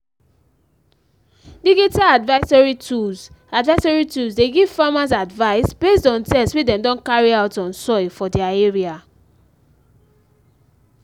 digital advisory tools advisory tools dey give farmers advice based on test wey dem don carry out on soil for their area